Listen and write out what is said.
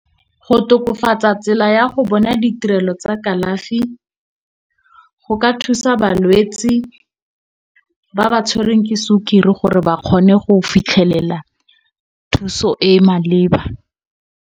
Go tokafatsa tsela ya go bona ditirelo tsa kalafi, go ka thusa balwetsi ba ba tshwereng ke sukiri gore ba kgone go fitlhelela thuso e maleba.